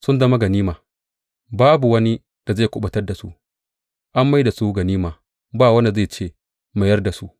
Sun zama ganima, babu wani da zai kuɓutar da su; an mai da su ganima, ba wanda zai ce, Mayar da su.